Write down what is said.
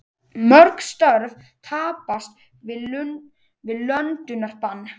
Mörg störf tapast við löndunarbann